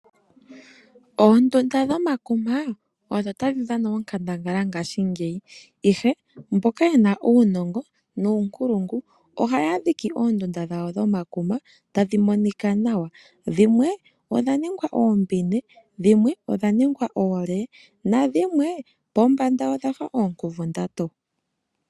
Oondunda dhomakuma odho tadhi dhana onkandangala ngaashingeyi ihe mboka yena uunongo nuunkulungu ohaya dhiki oondunda dhawo dhomakuma tadhi monika nawa, dhimwe odha ningwa oombine, dhimwe odha ningwa oole nadhimwe pombanda odha fa oonkuvundatu.